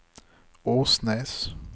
Åsnes